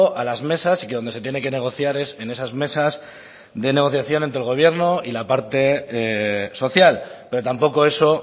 a las mesas y que donde se tiene que negociar es en esas mesas de negociación entre el gobierno y la parte social pero tampoco eso